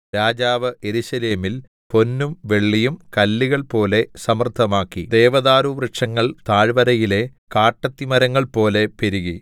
രാജാവ് യെരൂശലേമിൽ പൊന്നും വെള്ളിയും കല്ലുകൾ പോലെ സമൃദ്ധമാക്കി ദേവദാരു വൃക്ഷങ്ങൾ താഴ്വരയിലെ കാട്ടത്തിമരങ്ങൾ പോലെ പെരുകി